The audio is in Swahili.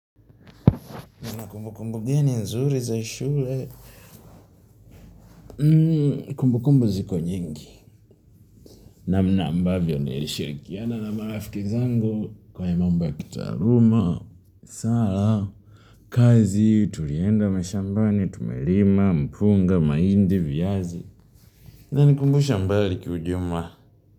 Na kumbu kumbu geni nzuri za shule, kumbu kumbu ziko nyingi. Namna ambavyo nilishirikiana na marafiki zangu kwa mambo kitaruma. Sala, kazi tulienda mashambani, tumelima, mpunga, mahindi, viazi. Inanikumbusha mbali kiujuma.